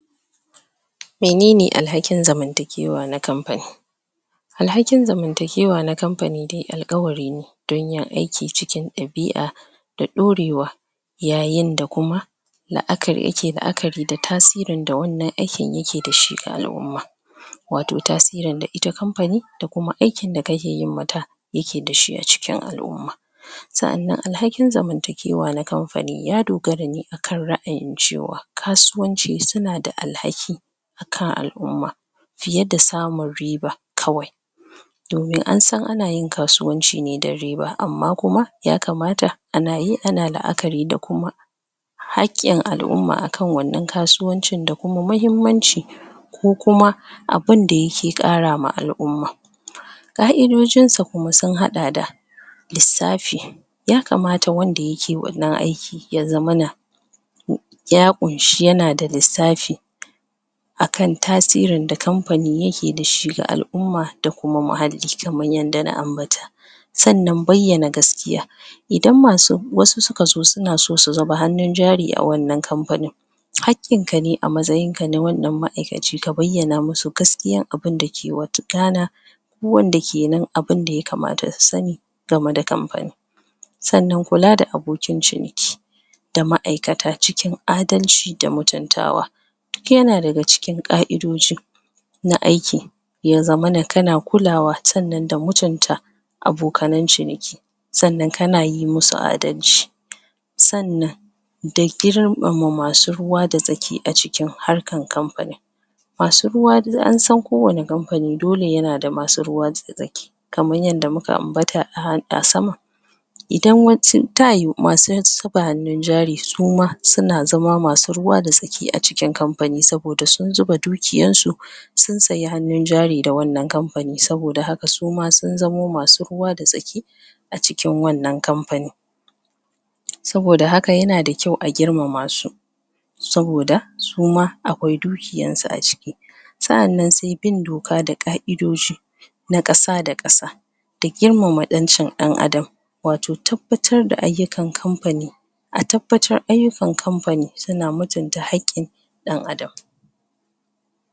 menene al'hakin zamantakewa na kamfani al'hakin zamantakewa na kamfani al'ƙawari ne don yin aiki cikin ɗabia da ɗorewa yayin da kuma la'a ya ke la'akari da tasirin da wannan aikin yake da shi ga al'umma wato tasirin da ita kamfani da kuma aikn da kake yi mata yake da shi acikin al'umma sa'anan al'hakin zamantakewa na kamfani ya dogara ne akan ra' ayin cewa kasuwanci suna da al'haki kan al'umma fiye da sanun riba kawai domin an san anayin kasuwanci ne dan riba amma kuma ya kamata anayi ana la'akari da kuma hakkin al'umma akan wannan kasuwanci da kummahimmanci ko kuma abinda yake ƙara wa al'umma ƙa'idojin sa kuma sun haa da =lissafi yakamata wanda yake wannan aiki ya zamana ya ɗunshi yana da lissafi a kan tasirin kanfanin yake da shi ga al'umma da hakki kaman yanda na anbata sannan bayyana gaskiya idan wato, wasu suka zo suna so su zuba jari a wannan kamfanin hak kin ka ne a matsayinka na wanna ma' aikaci ka bayyana musu gaskiya abun da ke wa kana wanda kenan abun da yakamata su sani gameda kamfanin sanan kula da abokin cimi ki da ma'ikata cikin adalci da mutuntawa yana daga cikin ƙa'idoji na aikin ya zamana kana kulawa sannan da mutunta abokanan ciniki sannan kana yi musu adalci sannan dai girmama masu ruwa da tsaki acikin wannan harkan kamf fani masu ruwa dai ansan kowani kam fani dole yana da masu ruwa da tsaki kaman yanda muka ambata a asama idan wan su tayu masu r ba hannun jari suma suna suna zama masu ruwa da tsaki aci kin kam fani saboda sun zuba du kiyan su sun saya hannunjari da wannan kami fani saboda haka suma sun zamo masu ruwa da tsaki acikin wannan kamfani saboda haka yana da kyau a girmama su saboda suma akwai dukiyan su aciki sa'annan sai bin doka da ƙa'idoji na ƙasa da ƙasa girmama ƴancin ɗan Adam ɗan adan wato tab ba tar da ayyukan kam fani atab batar ayyu kan kamfani sana mutunta hak ki ɗan adam